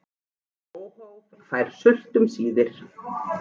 Óhófið fær sult um síðir.